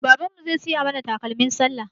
Baban mu zai siya mana takalmin sallah